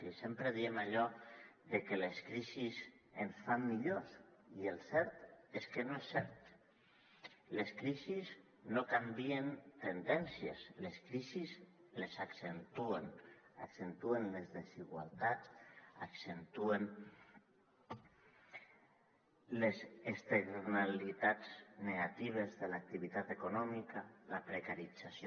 i sempre diem allò de que les crisis ens fan millors i el cert és que no és cert les crisis no canvien tendències les crisis les accentuen accentuen les desigualtats accentuen les externalitats negatives de l’activitat econòmica la precarització